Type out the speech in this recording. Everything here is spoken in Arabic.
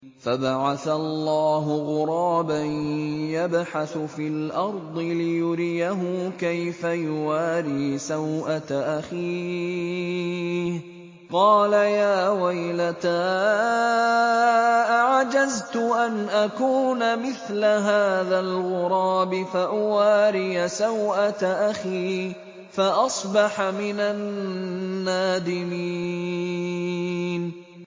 فَبَعَثَ اللَّهُ غُرَابًا يَبْحَثُ فِي الْأَرْضِ لِيُرِيَهُ كَيْفَ يُوَارِي سَوْءَةَ أَخِيهِ ۚ قَالَ يَا وَيْلَتَا أَعَجَزْتُ أَنْ أَكُونَ مِثْلَ هَٰذَا الْغُرَابِ فَأُوَارِيَ سَوْءَةَ أَخِي ۖ فَأَصْبَحَ مِنَ النَّادِمِينَ